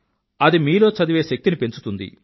అది మీలో చదివే శక్తిని పెంచుతుంది